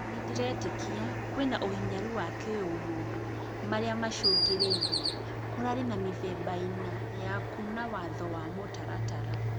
Nïndĩretĩkia kwĩna ũhinyar wa kĩũmũndũ maria macũngĩrĩirie, kũrarĩ na mĩthemba ĩna ya kuna watho wa mũtaratara